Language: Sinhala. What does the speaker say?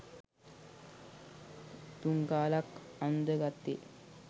තුන් කාලක් අන්දගත්තේ